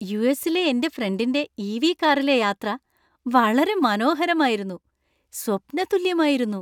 യു.എസി.ലെ എന്‍റെ ഫ്രണ്ടിന്‍റെ E. V .കാറിലെ യാത്ര വളരെ മനോഹരമായിരുന്നു, സ്വപ്നതുല്യമായിരുന്നു.